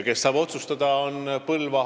Kes saab otsustada?